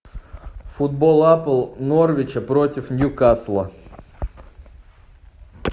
футбол апл норвича против ньюкасла